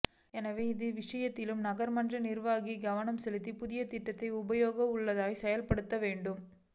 எனவே இது விசயத்திலும் நகர்மன்ற நிர்வாகம் கவனம் செலுத்தி புதிய திட்டத்தை உபயோகம் உள்ளதாக செயல்ப்படுத்த வேண்டும்